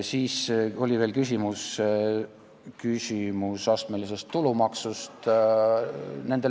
Siis oli veel küsimus astmelise tulumaksu kohta.